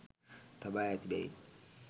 තබා ඇති බැවින්